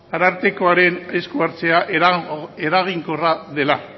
arartekoaren esku hartzea eraginkorra dela